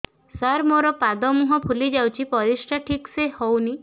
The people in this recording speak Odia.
ସାର ମୋରୋ ପାଦ ମୁହଁ ଫୁଲିଯାଉଛି ପରିଶ୍ରା ଠିକ ସେ ହଉନି